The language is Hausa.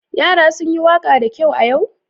Yara sun yi waƙa da kyau a yau?